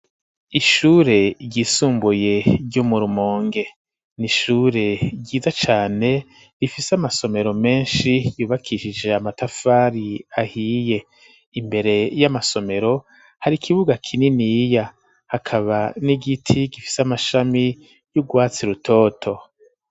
Ishure ry'isumbuye ryo murumonge nishure ryiza cane rifise amasomero menshi yubakishije amatafari ahiye imbere y'amasomero hari ikibuga kinini iya hakaba n'igiti gifise amashami y'urwatsi rutoto.